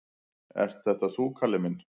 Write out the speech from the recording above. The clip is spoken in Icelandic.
"""Ert þetta þú, Kalli minn?"""